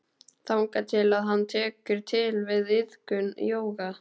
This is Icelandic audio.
Þangað til að hann tekur til við iðkun jóga.